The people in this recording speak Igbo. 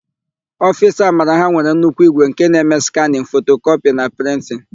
Ofiisi Amara ha nwere nnukwu ígwè nke na-eme skanịn, fotokọpị na prịntịn.